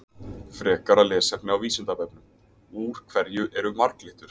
Frekara lesefni á Vísindavefnum: Úr hverju eru marglyttur?